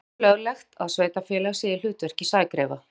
En er löglegt að sveitarfélag sé í hlutverki sægreifa?